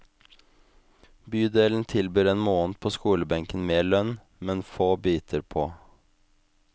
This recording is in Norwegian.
Bydelen tilbyr en måned på skolebenken med lønn, men få biter på.